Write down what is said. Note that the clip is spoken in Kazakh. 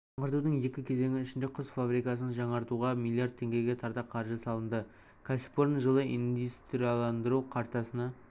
жаңғыртудың екі кезеңі ішінде құс фабрикасын жаңартуға миллиард теңгеге тарта қаржы салынды кәсіпорын жылы индустрияландыру картасына